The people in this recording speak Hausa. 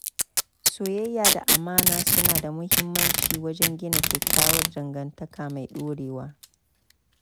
Soyayya da amana suna da muhimmanci wajen gina kyakkyawar dangantaka mai dorewa.